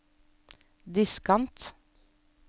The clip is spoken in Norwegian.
diskant